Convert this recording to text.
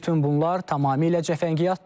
Bütün bunlar tamamilə cəfəngiyatdır.